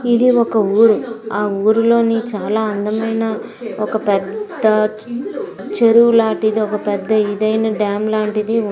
ఇది ఒక ఊరు ఆ ఊరిలోనీ చాలా అందమైన ఒక పెద్ద చెరువు లాంటిది ఒక పెద్ద ఇదైనా డ్యాం లాంటిది ఉంది.